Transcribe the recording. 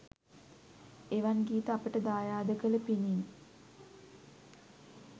එවන් ගීත අපට දායාද කල පිණින්